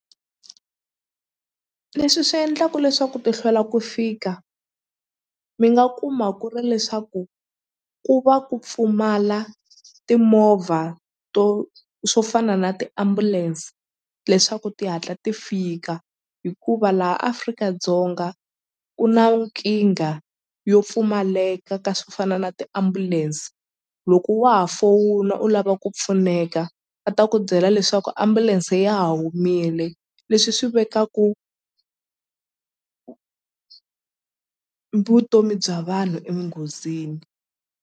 Leswi swi endlaku leswaku ti hlwela ku fika mi nga kuma ku ri leswaku ku va ku pfumala timovha to swo fana na tiambulense leswaku ti hatla ti fika hikuva laha Afrika-Dzonga ku na nkingha yo pfumaleka ka swo fana na tiambulense loko wa ha fowuna u lava ku pfuneka va ta ku byela leswaku ambulense ya ha humile leswi swi vekaku vutomi bya vanhu enghozini.